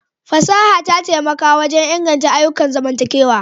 Fasaha ta taimaka wajen inganta ayyukan zamantakewa.